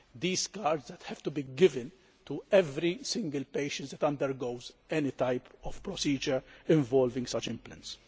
These cards have to be given to every single patient who undergoes any type of procedure involving such implants.